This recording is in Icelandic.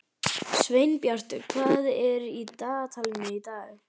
Sveinbjartur, hvað er í dagatalinu í dag?